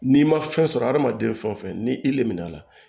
N'i ma fɛn sɔrɔ adamaden fɛn o fɛn ni i le min'a la